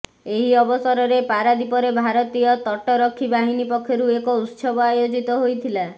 ଏହି ଅବସରରେ ପାରାଦୀପରେ ଭାରତୀୟ ତଟରକ୍ଷୀ ବାହିନୀ ପକ୍ଷରୁ ଏକ ଉତ୍ସବ ଆୟୋଜିତ ହୋଇଥିଲା